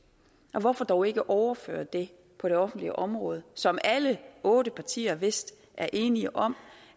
og hvorfor dog ikke overføre det på det offentlige område som alle otte partier vist er enige om